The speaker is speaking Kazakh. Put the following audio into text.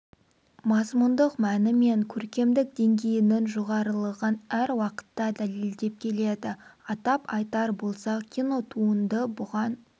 мазмұндық мәні мен көркемдік деңгейінің жоғарылығын әр уақытта дәлелдеп келеді атап айтар болсақ кинотуынды бұған